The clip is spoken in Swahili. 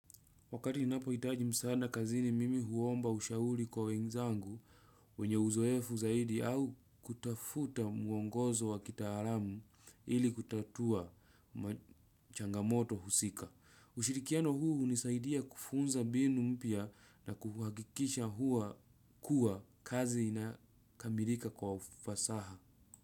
Wakati ninapohitaji msaada kazini nimi huomba ushauri kwa wenzangu wenye uzoefu zaidi au kutafuta mwongozo wa kitaalam ili kutatua changamoto husika ushirikiano huu hunisaidia kufunza mbinu mpya na kuhakikisha huwa kuwa kazi inakamilika kwa ufasaha.